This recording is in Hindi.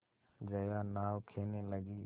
जया नाव खेने लगी